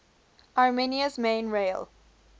armenia's main rail